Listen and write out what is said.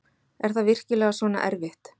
Er það virkilega svona erfitt?